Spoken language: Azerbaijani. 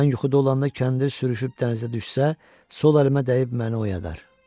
Mən yuxuda olanda kəndir sürüşüb dənizə düşsə, sol əlimə dəyib məni oyadar.